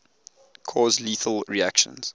cause lethal reactions